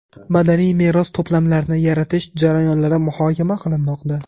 madaniy meros to‘plamlarini yaratish jarayonlari muhokama qilinmoqda.